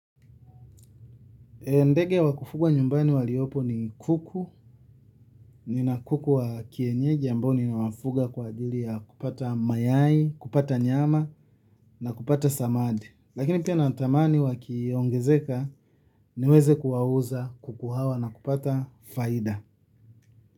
Ndege wakufuga nyumbani waliopo ni kuku, nina kuku wa kienyeji ambao ninawafuga kwa ajili ya kupata mayai kupata nyama na kupata samadi. Lakini pia na tamani wakiongezeka niweze kuwauza kuku hawa na kupata faida.